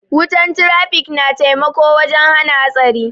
Wutan trafikator na taimako wajen hana hatsari.